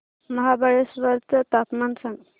महाबळेश्वर चं तापमान सांग